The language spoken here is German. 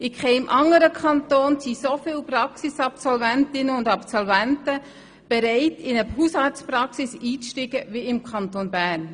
In keinem anderen Kanton sind so viele Praxisabsolventinnen und -absolventen bereit, in eine Hausarztpraxis einzusteigen, wie im Kanton Bern.